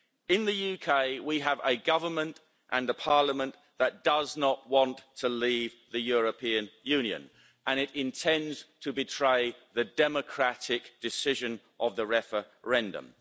In the UK, we have a government and a parliament that does not want to leave the European Union and it intends to betray the democratic decision of the referendum.